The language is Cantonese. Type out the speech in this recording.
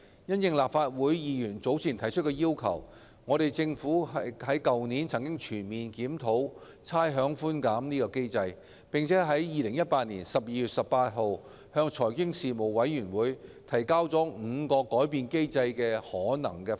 因應立法會議員早前提出的要求，政府去年曾全面檢討差餉寬減機制，並已於2018年12月18日向財經事務委員會提交5個改變機制的可能方案。